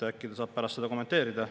Äkki ta saab pärast seda kommenteerida.